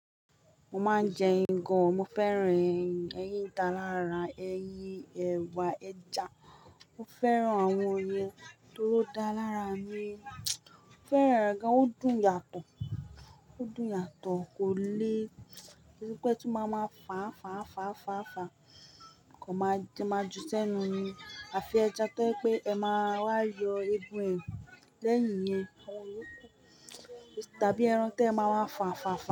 Mo máa ń jẹ́ ẹ̀yin gan-an, mo fẹ́ràn ẹ̀yin, ẹ̀yin dá lára ẹyín, ẹwà, ẹja. Mo fẹ́ràn àwọn ìyẹn toró dá lára mi. Mo fẹ́ràn rẹ̀ gan-an, ó dùn yàtọ̀, ó dùn yàtọ̀ kò le pé tí máa máa fàà fàà fàà fàà fàà Mọ̀ máa ju sẹ́nu mi. Àfi ẹja tẹ́ pé ẹ máa wá yọ eégún ẹ lẹ́yìn yẹn, tàbí ẹran tẹ máa má fàà fàà fàà.